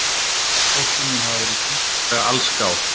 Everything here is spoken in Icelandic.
Fólkið mun hafa verið tiltölulega allsgáð